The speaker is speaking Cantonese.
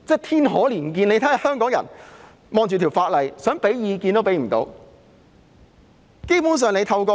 天可憐見，香港人對這項法例，想提供意見都不能。